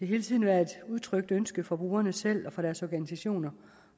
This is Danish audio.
hele tiden været et udtrykt ønske fra brugerne selv og fra deres organisationer